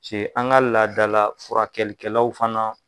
Cɛ an ka laadala furakɛ kɛlikɛlaw fana.